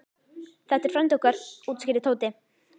Þetta er frændi okkar útskýrði Tóti.